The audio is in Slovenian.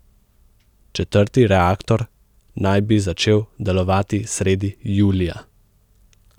Četrti reaktor naj bi začel delovati sredi julija.